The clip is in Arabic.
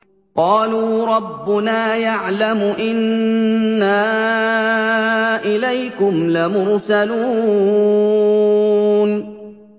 قَالُوا رَبُّنَا يَعْلَمُ إِنَّا إِلَيْكُمْ لَمُرْسَلُونَ